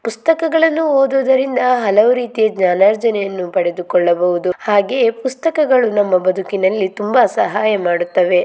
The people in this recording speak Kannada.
ಪುಸ್ತಕಗಳನ್ನು ಓದುವುದರಿಂದ ಹಲವು ರೀತಿಯ ಜ್ಞಾನರ್ಜನೆಯನ್ನು ಪಡೆದುಕೊಳ್ಳಬಹುದು ಹಾಗೆ ಪುಸ್ತಕ ಗಳು ನಮ್ಮ ಬದುಕಿನಲ್ಲಿ ತುಂಬಾ ಸಹಾಯ ಮಾಡುತ್ತವೆ.